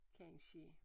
Kansje